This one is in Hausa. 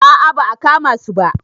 A a ba a kama su ba.